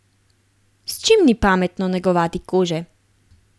S čim ni pametno negovati kože?